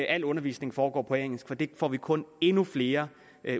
al undervisning foregå på engelsk for det får vi kun endnu flere